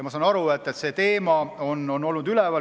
Ma sain aru, et see teema on üleval olnud.